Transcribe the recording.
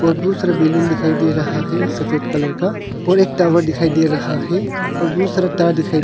और बुत सारा बैलून दिखाई दे रहा है सफेद कलर का और एक टावर दिखाई दे रहा है और बूत सारा तार दिखाई--